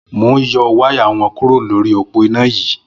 Mó n yọ wàyá wọn kùró lóri ópó iná yi